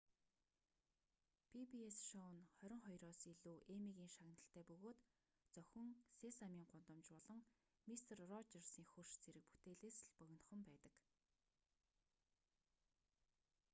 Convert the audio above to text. пи-би-эс шоу нь хорин хоёроос илүү эммигийн шагналтай бөгөөд зөвхөн сесамийн гудамж болон мистер роджерсын хөрш зэрэг бүтээлээс л богинохон байдаг